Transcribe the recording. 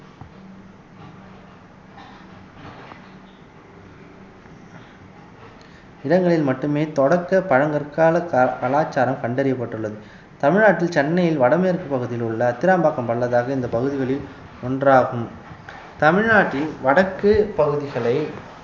இடங்களில் மட்டுமே தொடக்க பழங்கற்கால க~ கலாச்சாரம் கண்டறியப்பட்டுள்ளது தமிழ்நாட்டில் சென்னையில் வடமேற்குப் பகுதியில் உள்ள அத்திராம்பாக்கம் பள்ளதாக்கு இந்த பகுதிகளில் ஒன்றாகும் தமிழ்நாட்டின் வடக்கு பகுதிகளை